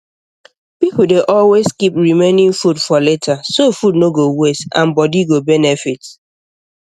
people dey always keep remaining food for later so food no go waste and body go benefit